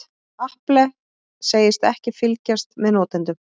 Apple segist ekki fylgjast með notendum